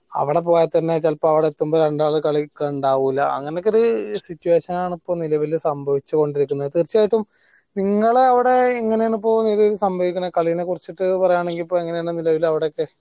അവിടെപ്പോയി തന്നെ ചെലപ്പോ അവിടെ എത്തുമ്പോൾ രണ്ടാൾ കളിക്കാനിണ്ടാവൂല അങ്ങനൊയൊക്കെ ഒരു situation നാണ് ഇപ്പൊ നിലവിൽ സംഭവിച്ചോണ്ടിരിക്കുന്നത് തീർച്ചയായിട്ടും നിങ്ങള അവിടെ എങ്ങനെയാണ് ഇപ്പൊ നിലവിൽ സംഭവിക്കണേ ക്ളീനെ കുറിച്ചട്ട് പറയാണെങ്കിൽ നിലവിൽ അവിടെയൊക്കെ